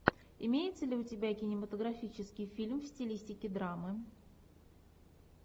имеется ли у тебя кинематографический фильм в стилистике драмы